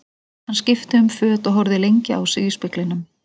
Hann skipti um föt og horfði lengi á sig í speglinum.